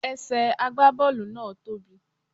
Ẹsẹ̀ àgbá Bọ́ọ̀lù náà tóbì.